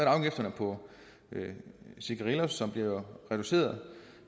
afgifterne på cigarillos som bliver reduceret